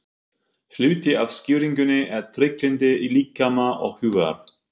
Hluti af skýringunni er trygglyndi líkama og hugar.